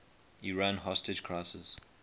iran hostage crisis